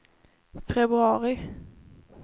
februari